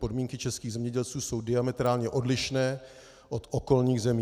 Podmínky českých zemědělců jsou diametrálně odlišné od okolních zemí.